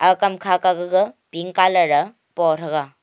ag kamkha kah gag pink colour aa po thega.